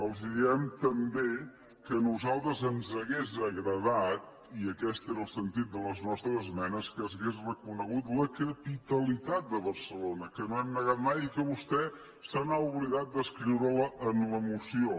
els diem també que a nosaltres ens hauria agradat i aquest era el sentit de les nostres esmenes que s’hagués reconegut la capitalitat de barcelona que no hem negat mai i que vostè s’ha oblidat d’escriure la en la moció